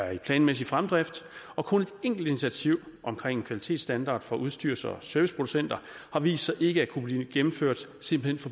i planmæssig fremdrift og kun et enkelt initiativ omkring kvalitetsstandard for udstyrs og serviceproducenter har vist sig ikke at kunne blive gennemført simpelt